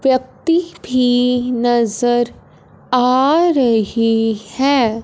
व्यक्ति भी नज़र आ रही है।